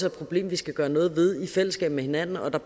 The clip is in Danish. et problem vi skal gøre noget ved i fællesskab med hinanden og der